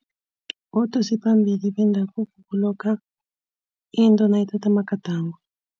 Ubudosiphambili bendabuko kulokha into nayithatha amagadango.